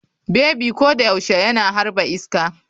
Bebi ko da yaushe yana harba iska.